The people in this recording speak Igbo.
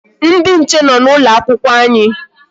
Ndị nche nọ n'ụlọ akwụkwọ anyị.